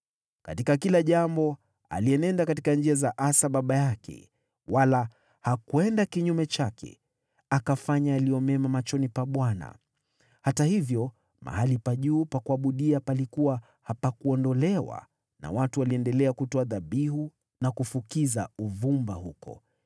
Katika kila jambo alitembea katika njia za Asa baba yake wala hakwenda kinyume chake. Alifanya yaliyo mema machoni pa Bwana . Hata hivyo mahali pa juu pa kuabudia hapakuondolewa. Watu waliendelea kutoa kafara na kufukiza uvumba huko.